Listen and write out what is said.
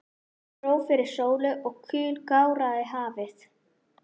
Ský dró fyrir sólu og kul gáraði hafið.